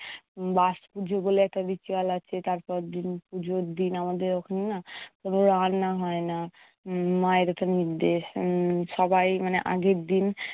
বাসযুগল একটা ritual আছে, তারপর দিন পুজোর দিন আমাদের ওখানে না রান্না হয় না। উম মায়ের এটা নির্দেশ। উম সবাই মানে আগের দিন